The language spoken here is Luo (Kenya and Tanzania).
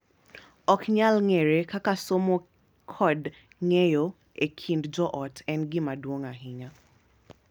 Ok nyal ng’ere kaka somo kod ng’eyo e kind joot en gima duong’ ahinya.